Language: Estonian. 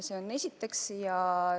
Seda esiteks.